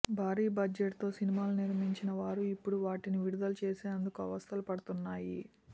భారీ బడ్జెట్తో సినిమాలు నిర్మించిన వారు ఇప్పుడు వాటిని విడుదల చేసేందుకు అవస్థలు పడుతున్నాయి